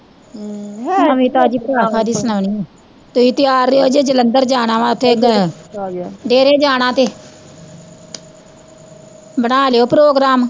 ਨਵੀਂ ਤਾਜ਼ੀ ਪਰਾਵਾਂ ਕਾਹਦੀ ਸੁਣਾਉਣੀ ਐ, ਤੁਸੀਂ ਤਿਆਰ ਰਹਿਓ ਜੇ ਜਲੰਧਰ ਜਾਣਾ ਵਾਂ ਓਥੇ ਡੇਰੇ ਜਾਣਾ ਤੇ ਬਣਾ ਲੀਓ program